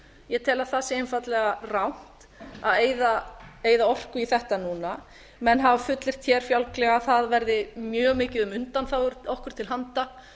ég tel að það sé einfaldlega rangt að eyða orku í þetta núna menn hafa fullyrt hér fjálglega að það verði mjög mikið um undanþágur okkur til handa